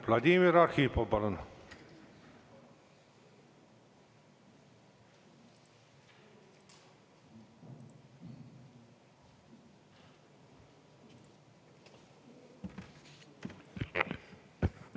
Vladimir Arhipov, palun!